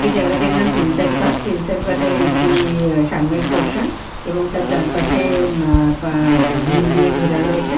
এই জায়গাটির নাম প্রিন্সেপ ঘাট প্রিন্সেপ ঘাট এর একটি সামনের পোরশান এবং চার পাসে এ মা পা গ্রিল দিয়ে ঘেরা রয়েছে।